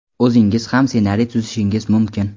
o‘zingiz ham ssenariy tuzishingiz mumkin.